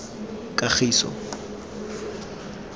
kagiso